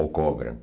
Ou cobram.